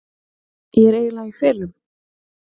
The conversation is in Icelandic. Ég er eiginlega í felum.